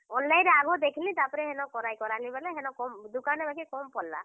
Online ରେ ଆଘୋ ଦେଖଲିଁ ତାରପରେ ହେନ, କରାଇ କରାଲି ବେଲେ ହେନ କମ୍, ଦୁକାନେଁ ବାକି କମ୍ ପଡ୍ ଲା।